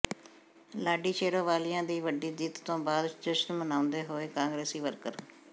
ਲਾਡੀ ਸ਼ੇਰੋਵਾਲੀਆ ਦੀ ਵੱਡੀ ਜਿੱਤ ਤੋਂ ਬਾਅਦ ਜਸ਼ਨ ਮਨਾਉਂਦੇ ਹੋਏ ਕਾਂਗਰਸੀ ਵਰਕਰ